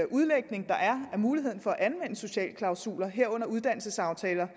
udlægninger der er af muligheden for at anvende sociale klausuler herunder uddannelsesaftaler